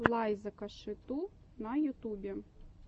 лайза коши ту на ютюбе